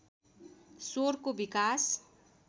स्वरको विकास